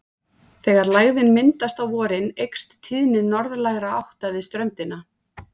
Þegar lægðin myndast á vorin eykst tíðni norðlægra átta við ströndina.